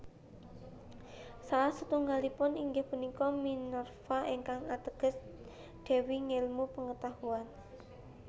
Salah setunggalipun inggih punika Minerva ingkang ateges dewi ngélmu pengetahuan